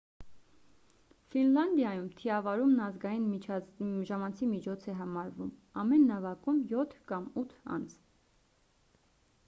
ֆինլանդիայում թիավարումն ազգային ժամանցի միջոց է համարվում ամեն նավակում յոթ կամ ութ անձ